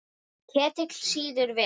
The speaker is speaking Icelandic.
Ketill sýður vel.